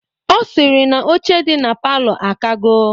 Ọ sịrị na oche dị na palọ akago.